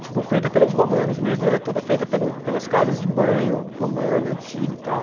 Desculpa, é feita pelos romanos mesmo, e ela é toda feita pelos, pelas casas de banho romana, antiga e tal.